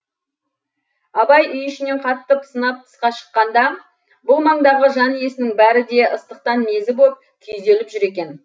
абай үй ішінен қатты пысынап тысқа шыққанда бұл маңдағы жан иесінің бәрі де ыстықтан мезі боп күйзеліп жүр екен